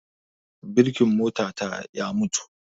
Birkin mota ta ya mutu